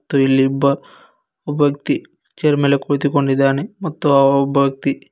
ಮತ್ತು ಇಲ್ಲಿ ಇಬ್ಬ ಒಬ್ಬ ವ್ಯಕ್ತಿ ಚೇರ್ ಮೇಲೆ ಕುಳಿತುಕೊಂಡಿದ್ದಾನೆ ಮತ್ತು ಆ ಒಬ್ಬ ವ್ಯಕ್ತಿ--